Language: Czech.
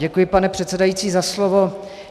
Děkuji, pane předsedající za slovo.